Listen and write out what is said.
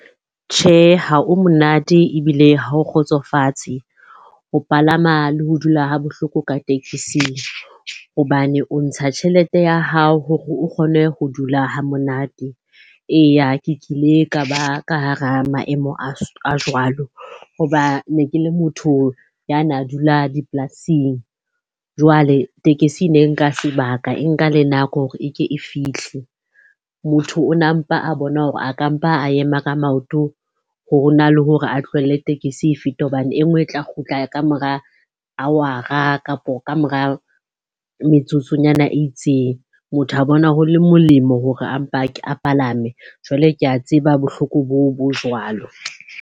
Tjhe, ha o monate ebile ha o kgotsofatse ho palama le ho dula ha bohloko ka tekising. Hobane o ntsha tjhelete ya hao hore o kgone ho dula ha monate. Eya, ke kile ka ba ka hara maemo a jwalo hoba ne ke le motho ya na dula dipolasing. Jwale tekesi e ne nka sebaka, e nka le nako hore e ke e fihle. Motho o na mpa a bona hore a ka mpa a ema ka maoto, ho na le hore a tlohelle tekesi e fete hobane e nngwe e tla kgutla ka mora hour-a kapo ka mora metsotsonyana e itseng. Motho a bona ho le molemo hore a mpa a palame. Jwale ke a tseba bohloko boo bo jwalo.